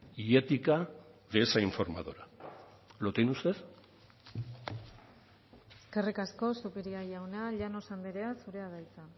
y ética de esa informadora lo tiene usted eskerrik asko zupiria jauna llanos andrea zurea da hitza